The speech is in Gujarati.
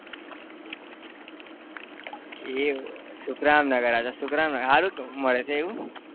એ સુખરામનગર હા તો સુખરામનગર સારું તો મળશે એવું?